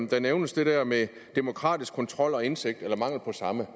der nævnes det der med demokratisk kontrol og indsigt eller mangel på samme